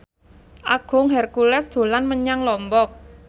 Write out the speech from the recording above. Agung Hercules dolan menyang Lombok